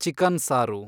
chicken ಸಾರು